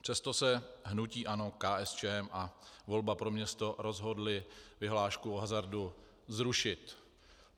Přesto se hnutí ANO, KSČM a Volba pro město rozhodly vyhlášku o hazardu zrušit.